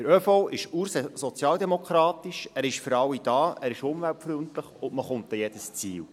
Der ÖV ist ursozialdemokratisch, er ist für alle da, er ist umweltfreundlich, und man kommt mit ihm an jedes Ziel.